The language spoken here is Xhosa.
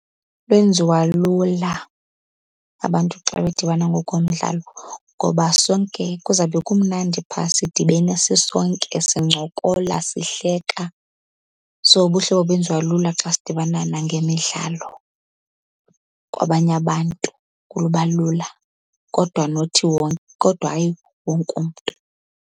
Benziwa lula abantu xa bedibana ngokomdlalo, ngoba sonke kuzawube kumnandi phaa sidibene sisonke sincokola, sihleka. So ubuhlobo benziwa lula xa sidibana nangemidlalo. Kwabanye abantu kuba lula kodwa nothi , kodwa hayi wonke umntu.